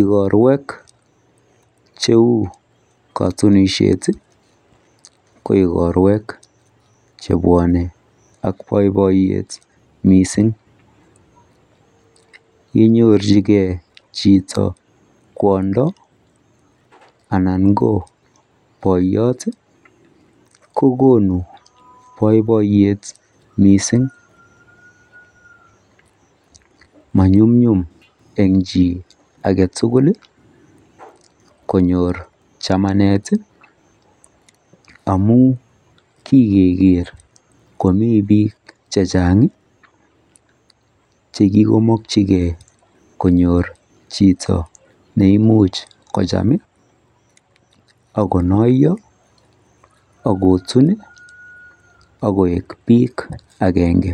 Igorwek cheu katunishet koikorwek chebwanen ak baibaiyet mising inyorchigei Chito kwondo anan ko bayat kokonu baibaiyet mising manyun nyum en chi agetugul konyor chamanet amun kigeger Komi bik chechan chekikomakingei konyor Chito neimuche kocham akonaiyo akotun akoek bik agenge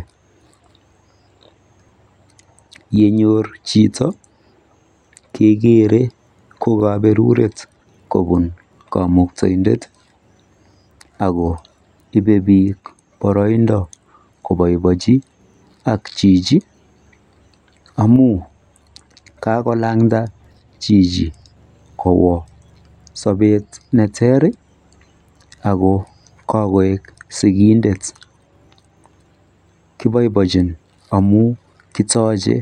yenyor Chito gegere kokaberuret kobun kamuktaendet akoribe bik baraindo kobaibaenchi Chichi amun kikolanda Chichi Kowa sabet neter ako kagoik sikindet kebaebaenjin amun kitache